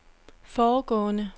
foregående